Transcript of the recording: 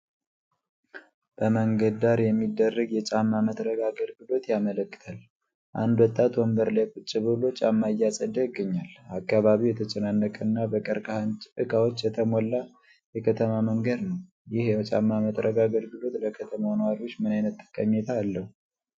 በመንገድ ዳር የሚደረግ የጫማ መጥረግ አገልግሎት ያመለክታል። አንድ ወጣት ወንበር ላይ ቁጭ ብሎ ጫማ እያጸዳ ይገኛል። አካባቢው የተጨናነቀ እና በቀርከሃ እቃዎች የተሞላ የከተማ መንገድ ነው። ይህ የጫማ መጥረግ አገልግሎት ለከተማው ነዋሪዎች ምን ዓይነት ጠቀሜታ አለው?